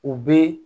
U bɛ